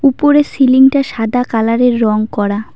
উপরের সিলিং -টা সাদা কালার -এর রং করা।